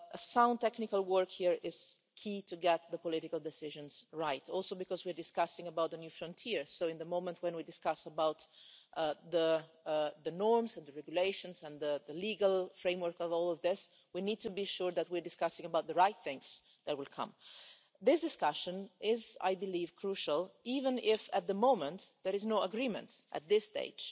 Sound technical work here is key to getting the political decisions right, also because we are discussing a new frontier, so at the time we are discussing the norms and the regulations and the legal framework for all of this, we need to be sure that we are discussing the right things that will come. This discussion is I believe crucial, even if at the moment there is no agreement at this stage